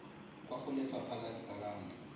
kwa go lefapha la dipalamo